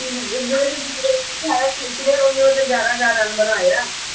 ਇਹਦਾ ਮਤਲਬ ਕਿ ਇਹ ਕ੍ਰਿਸ ਗੇਲ ਨੇ ਗਿਆਰਾਂ ਹਜ਼ਾਰ ਰਨ ਬਣਾਏ ਆ